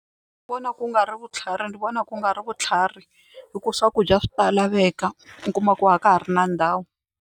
Ni vona ku nga ri vutlhari ni vona ku nga ri vutlhari hikuva swakudya swi ta laveka u kuma ku a ka ha ri na ndhawu.